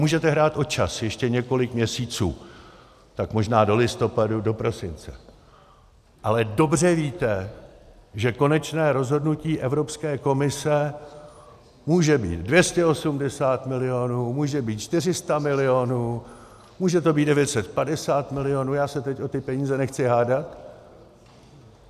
Můžete hrát o čas ještě několik měsíců, tak možná do listopadu, do prosince, ale dobře víte, že konečné rozhodnutí Evropské komise může být 280 milionů, může být 400 milionů, může to být 950 milionů, já se teď o ty peníze nechci hádat.